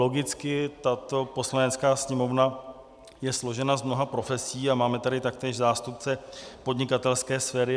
Logicky tato Poslanecká sněmovna je složena z mnoha profesí a máme tady taktéž zástupce podnikatelské sféry.